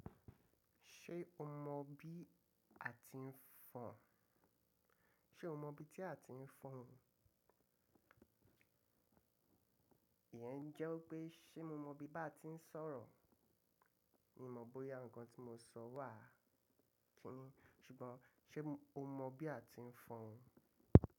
Ṣé o mọ bí a ti ń fọn? Ṣé o mọ bi tí a ti ń fọn? Ìyẹn jẹ́ pé, ṣe mo mọ bí bà tí ń sọ̀rọ̀. Mi ò mọ bóyá ǹkan tí mo sọ wà. Kí ni? Ṣùgbọ́n ṣe o mọ bí a ti ń fọn?